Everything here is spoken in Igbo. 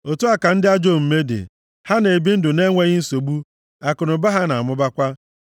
Otu a ka ndị ajọ omume dị, ha na-ebi ndụ na-enweghị nsogbu; akụnụba ha na-amụbakwa.